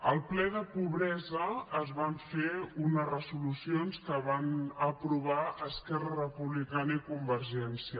al ple de pobresa es van fer unes resolucions que van aprovar esquerra republicana i convergència